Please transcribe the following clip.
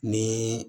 Ni